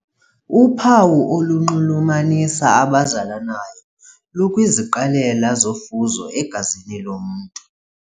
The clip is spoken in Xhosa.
Uphawu olunxulumanisa abazalanayo lukwiziqalelo zofuzo egazini lomntu.